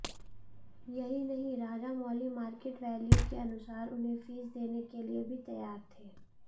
यही नहीं Rajamouli market value के अनुसार उन्हें फीस देने के लिए भी तैयार थे